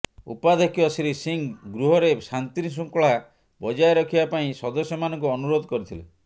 ଉପାଧ୍ୟକ୍ଷ ଶ୍ରୀ ସିଂହ ଗୃହରେ ଶାନ୍ତିଶୃଙ୍ଖଳା ବଜାୟ ରଖିବା ପାଇଁ ସଦସ୍ୟମାନଙ୍କୁ ଅନୁରୋଧ କରିଥିଲେ